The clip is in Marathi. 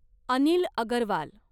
अनिल अगरवाल